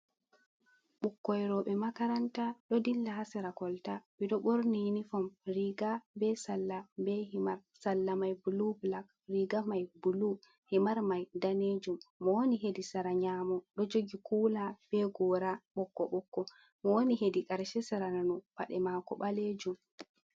Bukkoi robe makaranta ɗo ɗilla ha sera kolta. Beɗo borni iniform riga be salla, be himar. Salla mai bulu bulak. Riga mai bulu, himar mai nɗanejum. Mo woni heɗi sera nyamo ɗo jogi kula be gora bokko-bukko. Mo woni heɗi karshe sera nanu paɗe mako balejum.